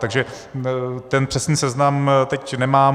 Takže ten přesný seznam teď nemám.